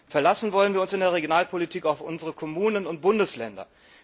Verlassen wollen wir uns in der Regionalpolitik auf unsere Kommunen und Bundesländer.